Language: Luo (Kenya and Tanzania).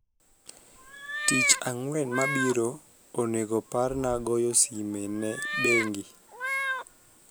tich angwen mabiro onego parna goyo sime ne bengi